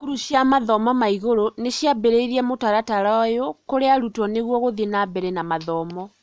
cukuru cia mathomo ma igũrũ niciambĩrĩirie mũtaratara ũyũ kũrĩ arutwo nĩguo gũthiĩ na mbere na mathomo.